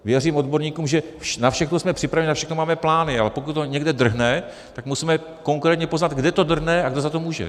Věřím odborníkům, že na všechno jsme připraveni, na všechno máme plány, ale pokud to někde drhne, tak musíme konkrétně poznat, kde to drhne a kdo za to může.